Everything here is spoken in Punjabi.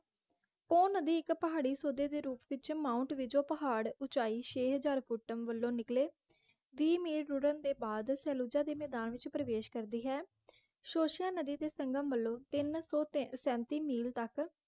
ਪੋਹ ਨਦੀ ਇਕ ਪਹਾੜੀ ਸੋਦੇ ਦੇ ਰੂਪ ਵਿਚ ਮਾਉੰਟ ਵਿਜੋ ਪਹਾੜ ਉਚਾਈ ਛੇ ਹਜ਼ਾਰ ਘੁਟਮ ਵਲੋਂ ਨਿਕਲੇ ਵੀਹ ਮੀਲ ਰੁੜ੍ਹਨ ਦੇ ਬਾਦ ਸਹੇਲੂਜਾ ਦੇ ਮੈਦਾਨ ਵਿਚ ਪ੍ਰਵੇਸ਼ ਕਰਦੀ ਹੈ ਸੋਸ਼ੇਆਂ ਨਦੀ ਦੇ ਸੰਗਮ ਵਲੋਂ ਤਿੰਨ ਸੌ ਤੇ ਸੈਂਤੀ ਮੀਲ ਤਕ